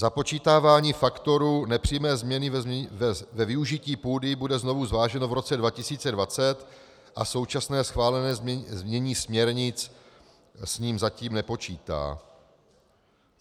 Započítávání faktorů nepřímé změny ve využití půdy bude znovu zváženo v roce 2020 a současné schválené znění směrnic s ním zatím nepočítá.